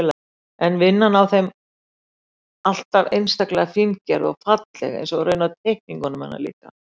Er vinnan á þeim alltaf einstaklega fíngerð og falleg, eins og raunar teikningunum hennar líka.